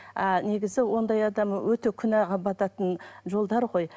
а негізі ондай адам өте күнәға бататын жолдар ғой